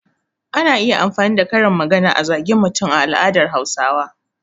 Ana iya amfani da karin magana a zage mutum a al'adar Hausawa.